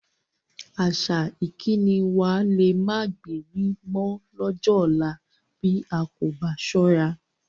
Àṣà ìkíni wa lé máa gbéri mọ lọ́jọ́ ọ̀la bí a kò bá ṣọ́ra